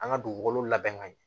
An ka dugukolo labɛn ka ɲɛ